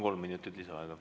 Kolm minutit lisaaega.